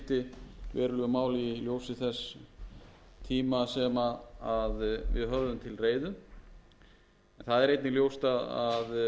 verulegu máli í ljósi þess tíma sem við höfðum til reiðu það er einnig ljóst að frumvarpið var að berast afar seint hér